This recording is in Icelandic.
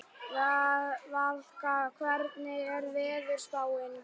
Valka, hvernig er veðurspáin?